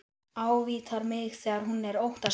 Ávítar mig þegar hún er óttaslegin.